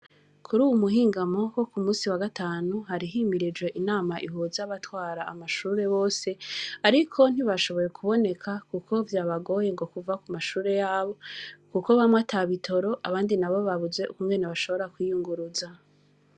Kuruyu muhingamo Wo kumusi wa gatanu, hari himirije inama, ihuza abatwara amashure Bose, Ariko ntibashoboye kuboneka kuko vyabagoye ngo kuva kumashure yabo, kuko bamwe atabitoro abandi nabo babuze Uko bashobora kwiyunguruza.